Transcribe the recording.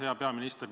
Hea peaminister!